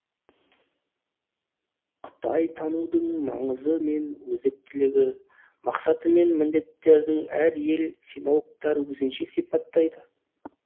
қытайтанудың маңызы мен өзектілігін мақсаты мен міндеттерін әр ел синологтары өзінше сипаттайды